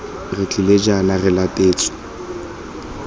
re tlile jaana re latetse